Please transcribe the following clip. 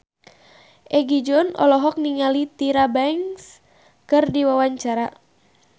Egi John olohok ningali Tyra Banks keur diwawancara